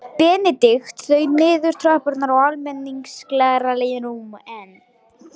Benedikt þaut niður tröppurnar á almenningssalerninu en